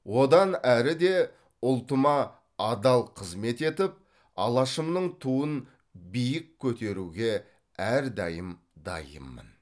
одан әрі де ұлтыма адал қызмет етіп алашымның туын биік көтеруге әрдайым дайынмын